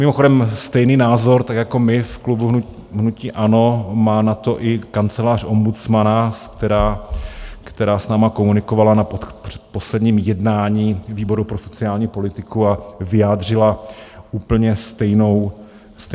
Mimochodem, stejný názor tak jako my v klubu hnutí ANO má na to i Kancelář ombudsmana, která s námi komunikovala na posledním jednání výboru pro sociální politiku a vyjádřila úplně stejnou obavu.